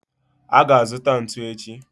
a ga-azuta ntu echi